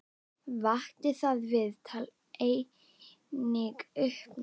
Vakti það viðtal einnig uppnám.